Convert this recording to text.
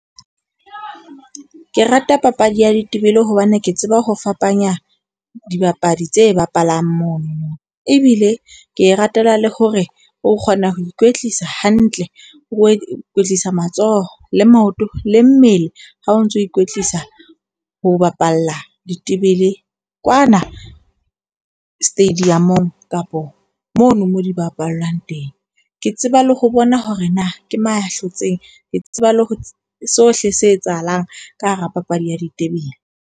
Ke rata papadi ya ditebele hobane ke tseba ho fapanya dibapadi tse bapalang mono. Ebile ke e ratela le hore o kgona ho ikwetlisa hantle, o ikwetlisa matsoho le maoto le mmele ha o ntso ikwetlisa ho bapala ditebele kwana stadium-ong kapo mono mo di bapallwang teng. Ke tseba le ho bona hore na ke moya hlotseng, ke tseba le ho sohle se etsahalang ka hara papadi ya ditebele.